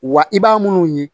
Wa i b'a minnu ye